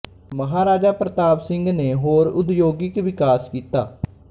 ਮਹਾਰਾਜਾ ਪ੍ਰਤਾਪ ਸਿੰਘ ਨੇ ਹੋਰ ਉਦਯੋਗਿਕ ਵਿਕਾਸ ਕੀਤਾ